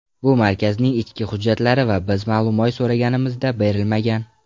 Bu markazning ichki hujjatlari va biz ma’lumoy so‘raganimizda berilmagan.